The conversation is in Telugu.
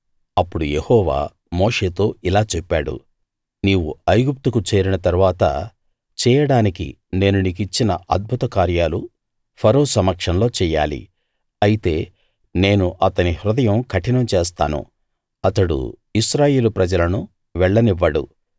అప్పుడు యెహోవా మోషేతో ఇలా చెప్పాడు నీవు ఐగుప్తుకు చేరిన తరువాత చేయడానికి నేను నీకిచ్చిన అద్భుత కార్యాలు ఫరో సమక్షంలో చెయ్యాలి అయితే నేను అతని హృదయం కఠినం చేస్తాను అతడు ఇశ్రాయేలు ప్రజలను వెళ్ళనివ్వడు